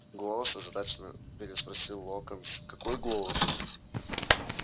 голос озадаченно переспросил локонс какой голос